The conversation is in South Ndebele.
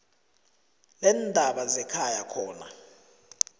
leendaba zekhaya khona